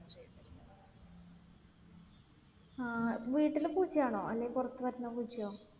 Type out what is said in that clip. ആഹ് വീട്ടിലെ പൂച്ചയാണോ അല്ലേൽ പുറത്ത് നിന്ന് വരുന്ന പൂച്ചയോ?